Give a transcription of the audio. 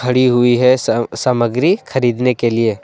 खड़ी हुई है सा सामग्री खरीदने के लिए--